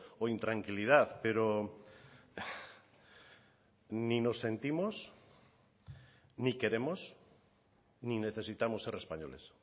o intranquilidad pero ni nos sentimos ni queremos ni necesitamos ser españoles